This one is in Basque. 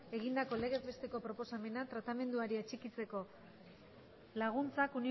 egindako legez besteko proposamena tratamenduari atxikitzeko laguntzak